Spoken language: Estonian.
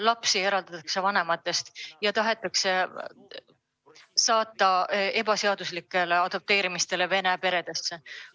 Lapsed eraldatakse vanematest ja tahetakse anda ebaseaduslikuks adopteerimiseks Vene peredesse.